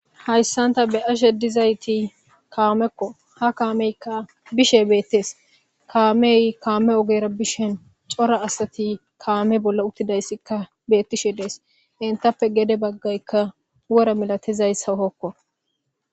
Haysantha beashe dizayththi kaamekko. Ha kamekka bishe be'eththes. Kaameyi kaame ogera bishen coral asaththi kaame bola uthidaysikka be'ethishshe de'es. Heysappe gede bagakka wora malathiysa hoko.